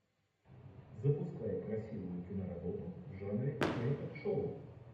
запускай красивую киноработу в жанре теле ток шоу